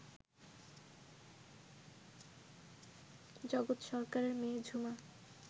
জগৎ সরকারের মেয়ে ঝুমা